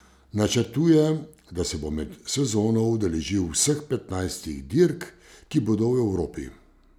Načrtuje, da se bo med sezono udeležil vseh petnajstih dirk, ki bodo v Evropi.